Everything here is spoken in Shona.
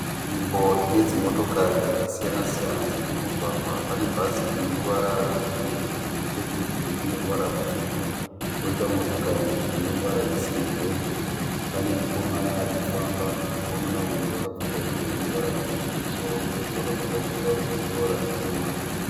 Nzvimbo ine dzimotokari dzakasiyana siyana dziri mumugwaga. Pane bhazi rine ruvara rwe bhuruu nechekurutivi rine ruvara rutsvuku. Koita motokari ine ruvara rwe sirivheri. Pane mukomana arikufamba, mukomana uyu akapfeka hembe ine ruvara rutsvuku kumusoro kuzasi akapfeka tirauzi rine ruvara rutema.